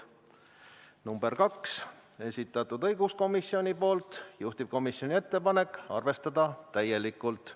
Ettepanek nr 2, esitanud õiguskomisjon, juhtivkomisjoni ettepanek: arvestada täielikult.